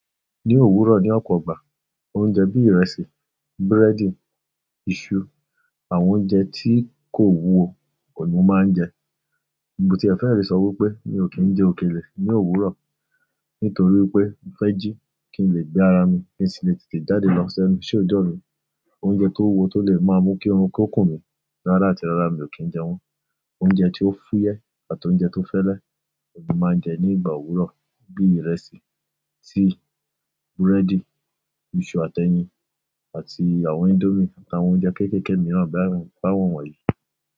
Ní òwúrọ̀ ní ọ̀pọ̀ ìgbà, oúnjẹ bí ìrẹsì, búrẹ́dì, iṣu, àwọn oúnjẹ tí kò wúwo òun ni mo máa ń jẹ. Mo ti ẹ̀ fẹ́ẹ̀ lè sọ wípé mi ò kí ń jẹ òkèlè ní òwúrọ̀ nítorí pé mo fẹ́ jí kí n lè gbé ara mi, kí n sì lè tètè jáde lọ ṣ'ẹ́nu iṣẹ́ òjọ́ mi oúnjẹ tó wúwo tó le è ma mú kí oorun kó kùn mí rárá àti rárá mi ò kí ń jẹ wọ́n. Oúnjẹ tí ó fúyẹ́ àti oúnjẹ tó fẹ́lẹ́ òun ni mo ma ń jẹ ní ìgbà òwúrọ̀, bíi ìrẹsì, tíì, búrẹ́dì, iṣu àti ẹyin àti àwọn índómì àtàwọn oúnjẹ kéékèèké mìíràn báwọn yìí.